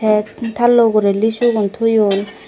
ek tallo ugure lissu gun toyon.